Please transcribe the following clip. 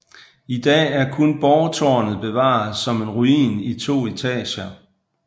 I dag er kun borgtårnet bevaret som en ruin i to etager